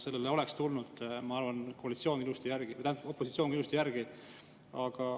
Sellega oleks, ma arvan, opositsioon tulnud ilusti kaasa.